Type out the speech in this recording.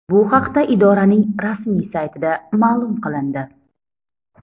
Bu haqda idoraning rasmiy saytida ma’lum qilindi .